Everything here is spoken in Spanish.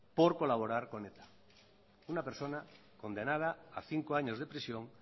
por colaborar con eta una persona condenada a cinco años de prisión